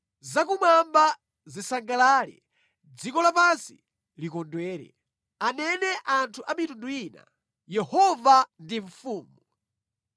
Zakumwamba zisangalale, dziko lapansi likondwere; anene anthu a mitundu ina, “Yehova ndi mfumu!”